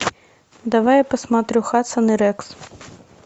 давай я посмотрю хадсон и рекс